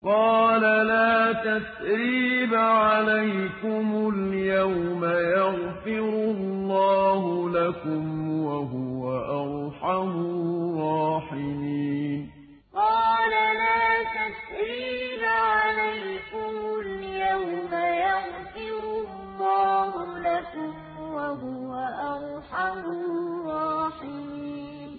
قَالَ لَا تَثْرِيبَ عَلَيْكُمُ الْيَوْمَ ۖ يَغْفِرُ اللَّهُ لَكُمْ ۖ وَهُوَ أَرْحَمُ الرَّاحِمِينَ قَالَ لَا تَثْرِيبَ عَلَيْكُمُ الْيَوْمَ ۖ يَغْفِرُ اللَّهُ لَكُمْ ۖ وَهُوَ أَرْحَمُ الرَّاحِمِينَ